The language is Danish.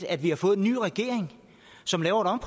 at vi har fået en ny regering som laver